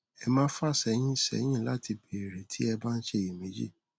ẹ má fà sẹyìn sẹyìn láti béèrè tí ẹ bá ń ṣiyẹméjì